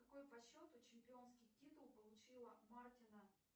какой по счету чемпионский титул получила мартина